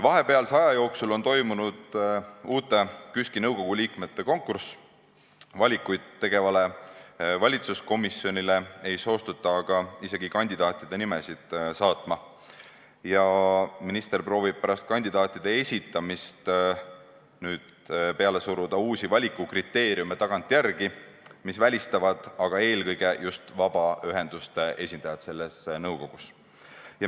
Vahepealse aja jooksul on toimunud uute KÜSK-i nõukogu liikmete konkurss, valikuid tegevale valitsuskomisjonile ei soostuta aga isegi kandidaatide nimesid saatma ja minister proovib nüüd pärast kandidaatide esitamist suruda tagantjärele peale uusi valikukriteeriume, mis välistavad eelkõige vabaühenduste esindajate kaasamise sellesse nõukogusse.